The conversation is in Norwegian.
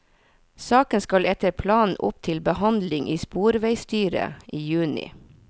Saken skal etter planen opp til behandling i sporveisstyret i juni.